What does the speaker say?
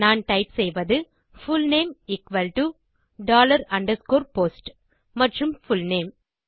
நான் டைப் செய்வது full name underscore post மற்றும் புல்நேம்